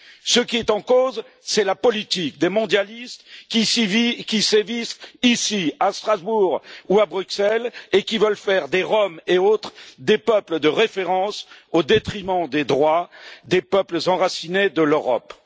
Ce qui est en cause, c'est la politique des mondialistes qui sévissent ici à Strasbourg ou à Bruxelles et qui veulent faire des Roms et autres des peuples de référence, au détriment des droits des peuples enracinés de l'Europe.